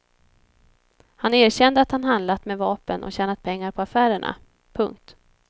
Han erkände att han handlat med vapen och tjänat pengar på affärerna. punkt